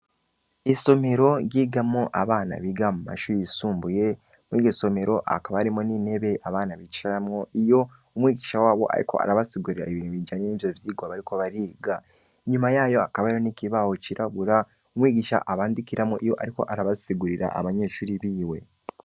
Isomero ryigamwo abana biga mu mashuri yisumbuye, muri iryo somero hakaba harimwo n’intebe abana bicaramwo iyo umwigisha wabo ariko arabasigurira ibintu bijanye n’ivyo vyigwa bariko bariga; inyuma yayo hakaba ariho n’ikibaho cirabura, umwigisha abandikiramwo iyo ariko arabasigurira abanyeshuri biwe.